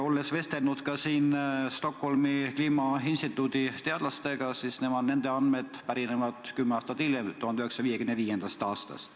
Olen vestelnud ka Stockholmi Kliimainstituudi teadlastega ja nende andmed pärinevad 1955. aastast.